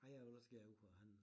Ej a vil også gerne ud for at handle